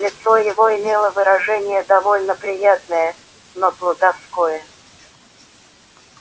лицо его имело выражение довольно приятное но плутовское